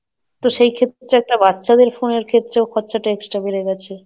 তো সেই ক্ষেত্রে একটা বাচ্চাদের phone এর ক্ষেত্রেও খরচাটা Extra বেড়ে গেছে,